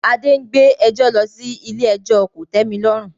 Adé ń gbé ẹjọ́ lọ sí ilé ẹjọ́ kòtẹ́milọ́rùn